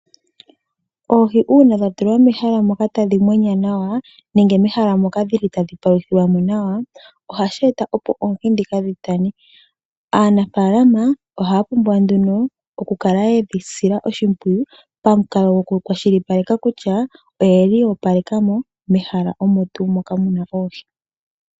Oohi una dha tulwa mehala moka tadhi munwa nawa nenge mehala moka dhili tadhi paluthilwamo nawa, ohashi eta opo oohi dhika dhi tane. Aanafalama ohaya pumbwa nduno oku kala yedhi sila oshimpwiyu pamukalo goku kwashilipaleka kutya oyeli ya opalekamo mehala omo tu moka hamu kala oohi.